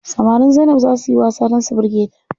Samarin Zainab zaa suyi wasa dan su birge ta.